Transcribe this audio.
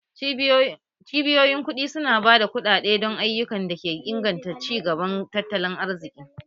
Cibiyoyin kuɗi su na ba da kuɗaɗe don ayyukan da ke inganta ci gaban tattalin arziki